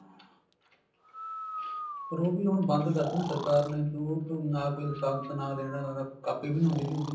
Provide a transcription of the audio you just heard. ਪਰ ਉਹ ਵੀ ਹੁਣ ਬੰਦ ਕਰਤੇ ਨਾ ਸਰਕਾਰ ਨੇ ਨਾ ਕੋਈ license ਨਾ ਲੈਣਾ ਦਾ ਦੇਣਾ ਕਾਪੀ ਵੀ ਨੀ ਹੁੰਦੀ ਤੀ ਉਹਦੀ